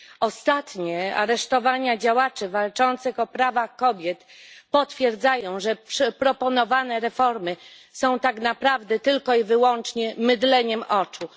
Ostatnie aresztowania działaczy walczących o prawa kobiet potwierdzają, że proponowane reformy są tak naprawdę tylko i wyłącznie mydleniem oczu.